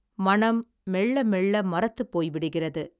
மனம் மெள்ளமெள்ள மரத்துப்போய்விடுகிறது.